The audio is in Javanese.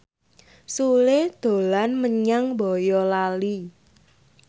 Sule dolan menyang Boyolali